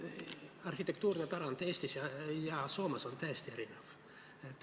Arhitektuurne pärand Eestis ja Soomes on täiesti erinev.